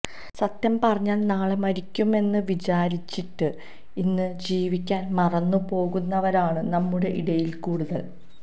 സത്യം പറഞ്ഞാല് നാളെ മരിയ്ക്കും എന്ന് വിചാരിച്ചിട്ട് ഇന്ന് ജീവിയ്ക്കാന് മറന്നു പോകുന്നവരാണ് നമ്മുടെ ഇടയില് കൂടുതല്